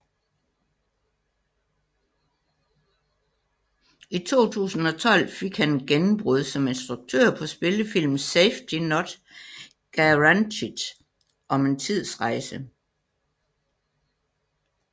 I 2012 fik han et gennembrud som instruktør på spillefilmen Safety Not Guaranteed om en tidsrejse